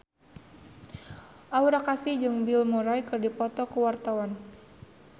Aura Kasih jeung Bill Murray keur dipoto ku wartawan